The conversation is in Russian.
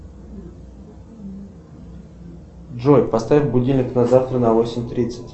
джой поставь будильник на завтра на восемь тридцать